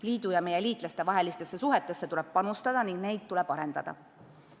Liidu ja meie liitlaste vahelistesse suhetesse tuleb panustada ning neid tuleb arendada.